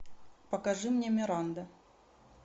покажи мне миранда